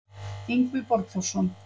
Yngvi Borgþórsson